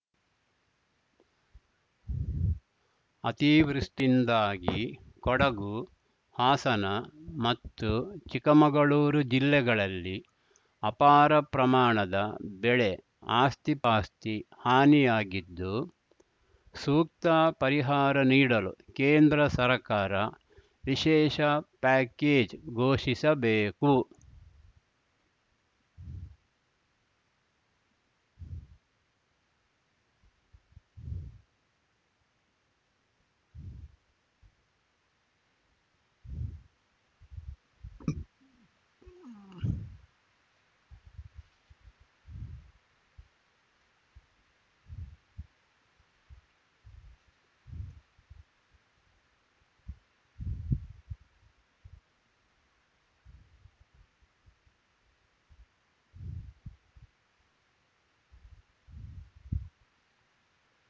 ಅತಿವೃಷ್ಟಿಯಿಂದಾಗಿ ಕೊಡಗು ಹಾಸನ ಮತ್ತು ಚಿಕ್ಕಮಗಳೂರು ಜಿಲ್ಲೆಗಳಲ್ಲಿ ಅಪಾರ ಪ್ರಮಾಣದ ಬೆಳೆ ಆಸ್ತಿಪಾಸ್ತಿ ಹಾನಿಯಾಗಿದ್ದು ಸೂಕ್ತ ಪರಿಹಾರ ನೀಡಲು ಕೇಂದ್ರ ಸರ್ಕಾರ ವಿಶೇಷ ಪ್ಯಾಕೇಜ್‌ ಘೋಷಿಸಬೇಕು